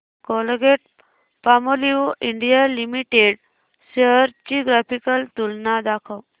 Colgate Palmolive India limited shares ची graphical तुलना दाखव